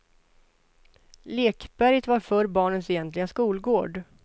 Lekberget var förr barnens egentliga skolgård.